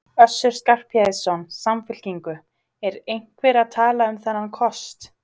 Össur Skarphéðinsson, Samfylkingu: Er einhver að tala um þennan kost?